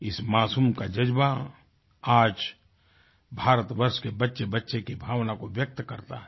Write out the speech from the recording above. इस मासूम का जज़्बा आज भारतवर्ष के बच्चेबच्चे की भावना को व्यक्त करता है